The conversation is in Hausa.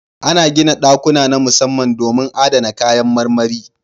Ana gina ɗakuna na musamman domin adana kayan marmari.